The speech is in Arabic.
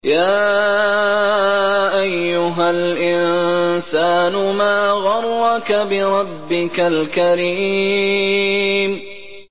يَا أَيُّهَا الْإِنسَانُ مَا غَرَّكَ بِرَبِّكَ الْكَرِيمِ